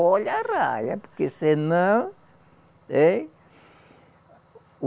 Olha a arraia, porque senão, hein?